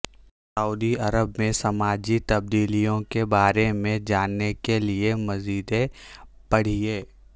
سعودی Arab میں سماجی تبدیلیوں کے بارے میں جاننے کے لیے مزید پڑھیے